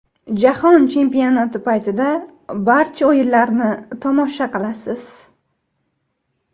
Jahon chempionati paytida barcha o‘yinlarni tomosha qilasiz.